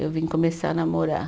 Eu vim começar a namorar.